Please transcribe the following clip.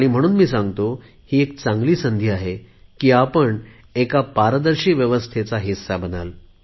म्हणून मी सांगतो ही चांगली संधी आहे की आपण एका पारदर्शी व्यवस्थांचा हिस्सा बनाल